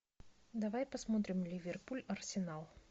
давай посмотрим ливерпуль арсенал